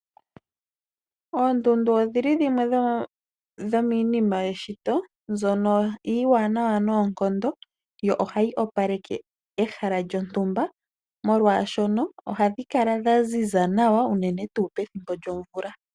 Oondunda odhili dhimwe dhomiinima yeshito mbyono iiwanawa noonkondo yo ohayi opaleke ehala lyontumba oshoka ohadhi kala dha ziza nawa uunene tuu pethimbo lyomvula.